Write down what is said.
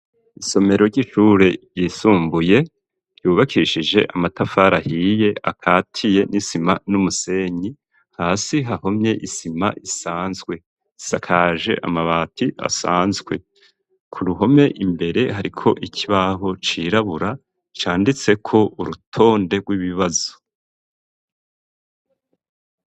Isomero, ry'ishure ryisumbuye, ryubakishije amatafari ahiye, akatiye n'isima n'umusenyi; hasi hahomye isima isanzwe, isakaje amabati asanzwe; ku ruhome imbere, hariko ikibaho cirabura, canditseko urutonde, rw'ibibazo.